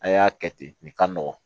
A y'a kɛ ten nin ka nɔgɔn